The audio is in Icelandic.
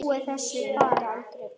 Ég nota aldrei buff.